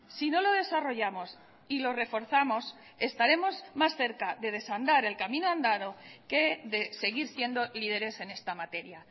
si no lo desarrollamos y lo reforzamos estaremos más cerca de desandar el camino andado que de seguir siendo líderes en esta materia